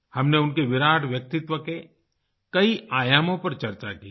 हमने उनके विराट व्यक्तित्व के कई आयामों पर चर्चा की है